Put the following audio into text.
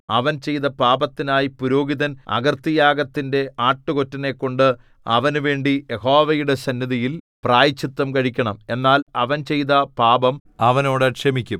അവൻ ചെയ്ത പാപത്തിനായി പുരോഹിതൻ അകൃത്യയാഗത്തിന്റെ ആട്ടുകൊറ്റനെക്കൊണ്ട് അവനുവേണ്ടി യഹോവയുടെ സന്നിധിയിൽ പ്രായശ്ചിത്തം കഴിക്കണം എന്നാൽ അവൻ ചെയ്ത പാപം അവനോട് ക്ഷമിക്കും